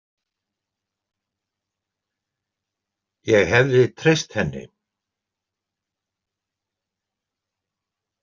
Ég hefði treyst henni.